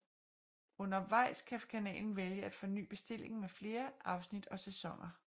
Undervejs kan kanalen vælge at forny bestillingen med flere afsnit og sæsoner